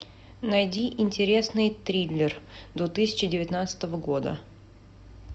найди интересный триллер две тысячи девятнадцатого года